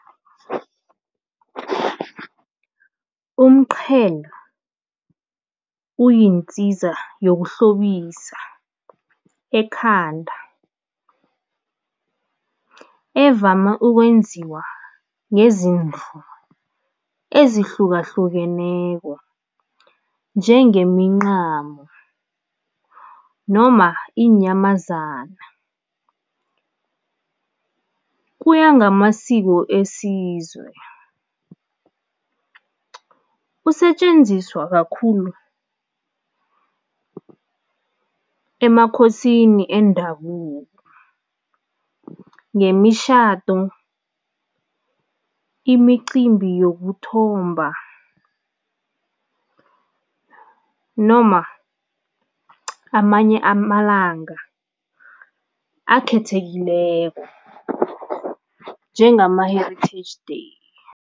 Umqhele uyinsiza yokuhlobisa ekhanda evama ukwenziwa ngezindlu ezihlukahlukeneko, njengemincamo noma iinyamazana, kuya ngamasiko esizwe. Usetjenziswa kakhulu emakhosini endabuko, ngemishado, imicimbi yokuthomba noma amanye amalanga akhethekileko njengama-heritage day.